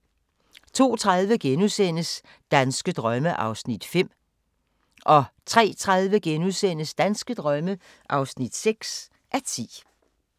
02:30: Danske drømme (5:10)* 03:30: Danske drømme (6:10)*